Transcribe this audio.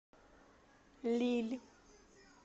лилль